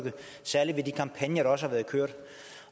særlig ved de kampagner der også har været kørt